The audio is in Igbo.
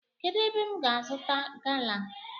Kedu ébé m ga azuta gala?